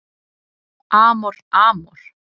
Amor Amor